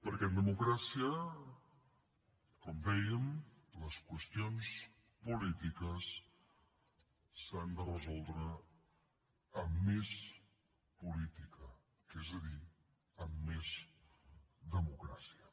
perquè en democràcia com dèiem les qüestions polítiques s’han de resoldre amb més política és a dir amb més democràcia